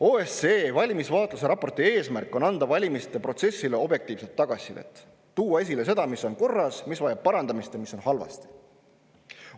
OSCE valimisvaatluse raporti eesmärk on anda valimiste protsessi kohta objektiivset tagasisidet, tuua esile seda, mis on korras, mis vajab parandamist ja mis on halvasti.